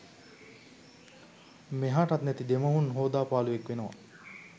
මෙහාටත් නැති දෙමුහුන් හෝදපාලුවෙක් වෙනවා